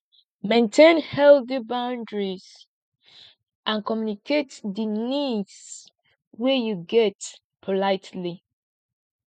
maintain healthy boundries and communicate di needs wey you get politely